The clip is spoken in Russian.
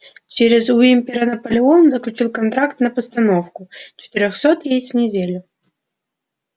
через уимпера наполеон заключил контракт на постановку четырёхсот яиц в неделю